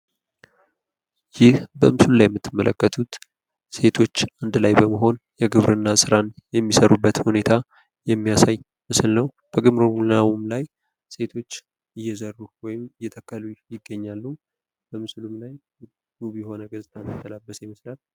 ይህ በምስሉ ላይ የምትመለከቱት ሴቶች አንድ ላይ በመሆን የግብርና ስራን የሚሰሩበት ሁኔታ የሚያሳይ ምስል ነው። ከግብርናውም ላይ ሴቶች እየዘሩ ወይም እየተከሉ ይገኛሉ። በምስሉም ላይ ውብ የሆነ ገፅታን የተላበሰ ይመስላል።